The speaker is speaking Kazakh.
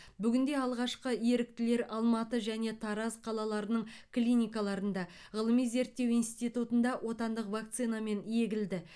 бүгінде алғашқы еріктілер алматы және тараз қалаларының клиникаларында ғылыми зерттеу институтында отандық вакцинамен егілді